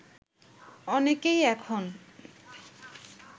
অনেকেই এখন